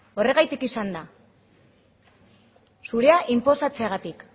horregatik izan da zurea inposatzeagatik